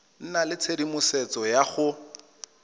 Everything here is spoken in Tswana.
nna le tshedimosetso ya go